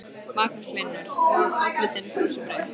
Magnús Hlynur: Og, oddvitinn brosir breytt?